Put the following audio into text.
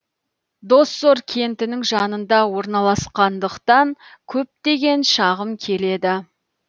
доссор кентінің жанында орналасқандықтан көптеген шағым келеді